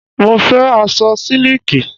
Mo fẹ́ aṣọ sílíkì.